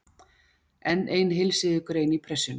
Enn ein heilsíðugrein í Pressunni.